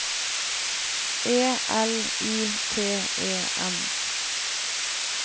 E L I T E N